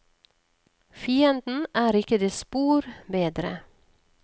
Fienden er ikke det spor bedre.